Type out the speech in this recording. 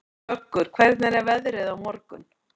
Vöggur, hvernig er veðrið á morgun?